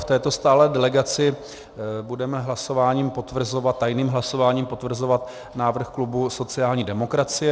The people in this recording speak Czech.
V této stálé delegaci budeme tajným hlasováním potvrzovat návrh klubu sociální demokracie.